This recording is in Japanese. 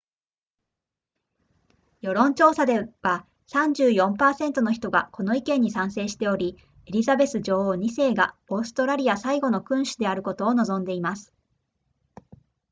世論調査では 34% の人がこの意見に賛成しておりエリザベス女王2世がオーストラリア最後の君主であることを望んでいます